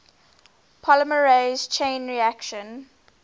polymerase chain reaction